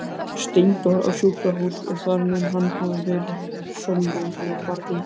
Steindór á sjúkrahús og þar mun hann hafa verið er Sólrún ól barnið.